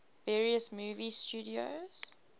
various movie studios